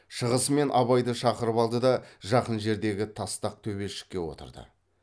шығысымен абайды шақырып алды да жақын жердегі тастақ төбешікке отырды